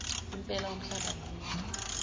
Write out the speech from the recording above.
impela umhlaba awunoni